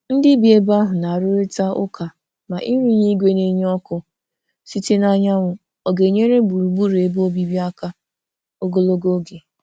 Ndị bi ebe ahụ na-arụrịta ụka ma ịrụnye igwe na-enye ọkụ site n'anyanwụ ọ ga-enyere gburugburu ebe obibi aka ogologo oge.